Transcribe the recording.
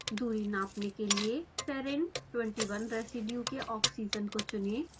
दूरी नापने के लिए serine 21 रेसीड्यू के ऑक्सीजन को चुनें